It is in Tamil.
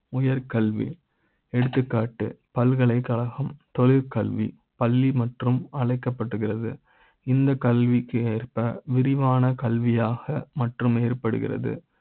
உயர். கல்வி எடுத்துக்காட்டு பல்கலைக்கழக ம், தொழில் கல்வி பள்ளி மற்றும் அழைக்க ப்படுகிறது இந்த கல்வி க்கு ஏற்ப விரிவான கல்வி யாக மற்றும் ஏற்படுகிறது